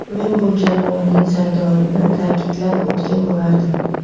Men bu jamoaning sardorini ta’kidlab o‘tgan bo‘lardim.